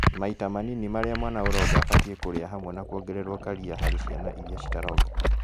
Maita manini marĩa mwana ũronga abatiĩ kũrĩa hamwe na kuongererwo karia harĩ ciana iria citaronga